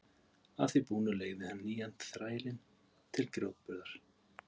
Að því búnu leigði hann nýja þrælinn til grjótburðar.